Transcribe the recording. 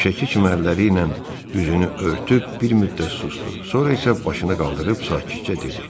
Həmişəki kimi əlləri ilə üzünü örtüb bir müddət susdu, sonra isə başını qaldırıb sakitcə dedi.